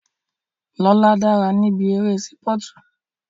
Lóla dára níbi eré sípọ̀tù